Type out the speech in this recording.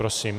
Prosím.